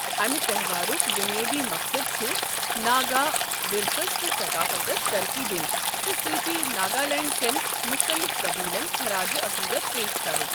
امہِ تہوارُک بُنیٲدِی مقصد چھُ ناگا ورثسس تہٕ ثقافتَس ترقی دِنۍ، تہٕ سۭتۍ ناگالینڈ کٮ۪ن مُختٔلِف قبیٖلَن خَراجہِ عٔقیٖدَت پیش کرُن۔